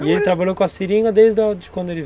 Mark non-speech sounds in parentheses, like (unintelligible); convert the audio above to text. E ele trabalhou com a seringa desde quando ele (unintelligible)